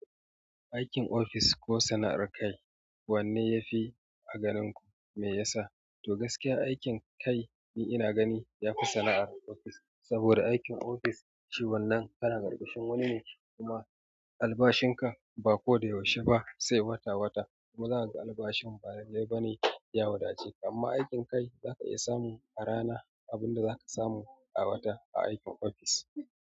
Aikin ofis ko sana'ar kai, wanne yafi a ganin ku mai yasa? To gaskiya aikin kai ina gani yafi sana'ar ofis, saboda aikin ofis shi wannan kana ƙarƙashin wani ne kuma albashin ka ba ko da yaushe ba sai wata wata kuma zaka ga albashin ba lallai ba ne ya wadace amma aikin kai zaka iya samu a rana abunda zaka samu a wata a aikin ofis.